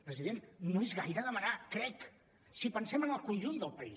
president no és gaire demanar crec si pensem en el conjunt del país